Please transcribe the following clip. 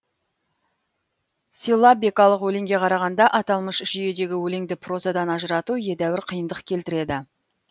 силлабикалық өлеңге қарағанда аталмыш жүйедегі өлеңді прозадан ажырату едәуір қиындық келтіреді